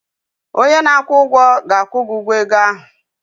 Onye na-akwụ ụgwọ ga-akwụ gi ụgwọ ego ahụ